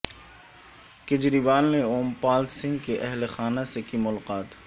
کیجروال نے اوم پال سنگھ کے اہل خانہ سے کی ملاقات